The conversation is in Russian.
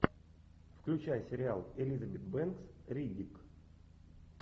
включай сериал элизабет бэнкс риддик